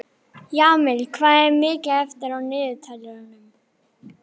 Jamil, hvað er mikið eftir af niðurteljaranum?